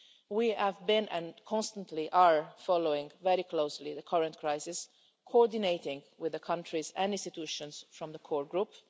We have been and constantly are following very closely the current crisis, coordinating with the countries and institutions from the core group.